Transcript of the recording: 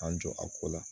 K'an jɔ a ko la